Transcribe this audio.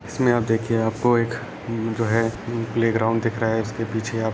इसमें आप देखिये आपको एक उम्म्म जो है प्ले उम्म ग्राउंड दिख रहा है उसके पीछे आपको कुछ --